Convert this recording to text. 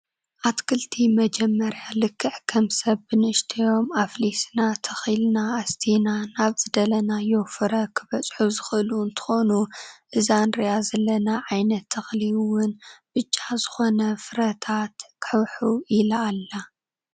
ኣትክልቲ መጀመርያ ልክዕ ከም ሰብ ብንእሽተዮም ኣፍሊስና፣ ተክሊና ፣ኣስቲና ናብ ዝደለናዮ ፍረ ከበፅሑ ዝክእሉ እንትኮኑ እዛ እንሪኣ ዘለና ዓይነት ተክሊ እውን ብጫ ዝኮነ ፍረታት ዝሕውሕው ኢላ ኣላ።